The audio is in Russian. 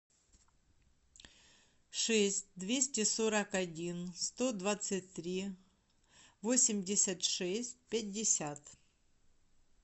шесть двести сорок один сто двадцать три восемьдесят шесть пятьдесят